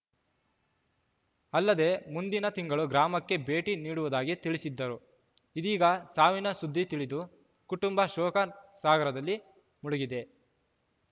ಅಲ್ಲದೆ ಮುಂದಿನ ತಿಂಗಳು ಗ್ರಾಮಕ್ಕೆ ಭೇಟಿ ನೀಡುವುದಾಗಿ ತಿಳಿಸಿದ್ದರು ಇದೀಗ ಸಾವಿನ ಸುದ್ದಿ ತಿಳಿದು ಕುಟುಂಬ ಶೋಕ ಸಾಗರದಲ್ಲಿ ಮುಳುಗಿದೆ